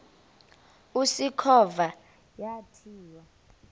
usikhova yathinjw a